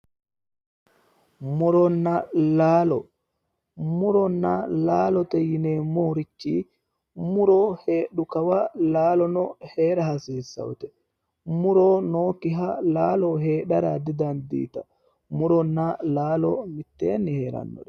Muronna laalo, muronna laalote yinneemmorichi muro heedhu kawa laalono heera ghasiissate, muro nooyikkiha laalo heedhara didandittano ,muronna laalo mitteenni heerano